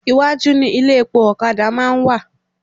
Iwájú ni ilé epo ọ̀kadà máa ń wà